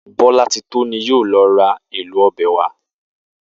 Bó̩látitó ni yóò lo̩ ra èlò o̩bè̩ wá